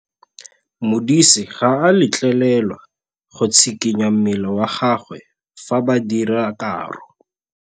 Modise ga a letlelelwa go tshikinya mmele wa gagwe fa ba dira karô.